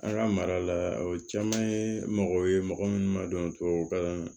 An ka mara la o caman ye mɔgɔ ye mɔgɔ minnu ma dɔn tubabukan na